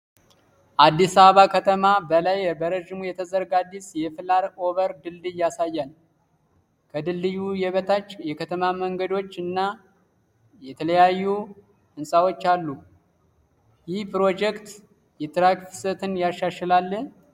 ከአዲስ አበባ ከተማ በላይ በረዥሙ የተዘረጋ አዲስ የፍላይ ኦቨር ድልድይ ያሳያል። ከድልድዩ በታች የከተማ መንገዶች እና የተለያዩ ህንፃዎች አሉ። ይህ ፕሮጀክት የትራፊክ ፍሰትን ያሻሽላል?